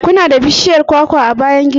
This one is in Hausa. Ku na da bishiyar kwakwa a bayan gidan ku?